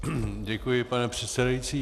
Děkuji, pane předsedající.